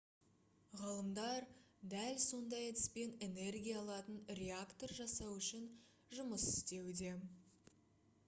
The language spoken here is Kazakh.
ғалымдар дәл сондай әдіспен энергия алатын реактор жасау үшін жұмыс істеуде